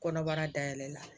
Kɔnɔbara da yɛlɛla